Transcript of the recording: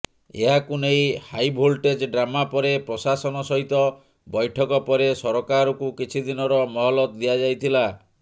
ଏହାକୁ ନେଇ high voltage drama ପରେ ପ୍ରଶାସନ ସହିତ ବୈଠକ ପରେ ସରକାରକୁ କିଛି ଦିନର ମହଲତ ଦିଆଯାଇଥିଲା